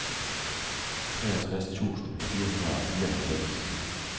treogtres tusind fire hundrede og fireoghalvfems